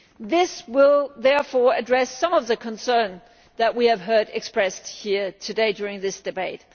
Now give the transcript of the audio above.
This will therefore address some of the concerns that we have heard expressed here today during this debate.